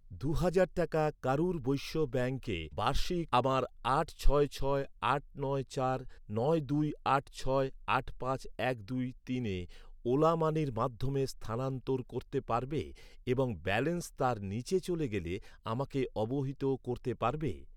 দু'হাজার টাকা কারুর বৈশ্য ব্যাঙ্কে, বার্ষিক আমার আট ছয় ছয় আট নয় চার নয় দুই আট ছয় আট পাঁচ এক দুই তিনে ওলা মানির মাধ্যমে স্থানান্তর করতে পারবে এবং ব্যালেন্স তার নীচে চলে গেলে আমাকে অবহিত করতে পারবে?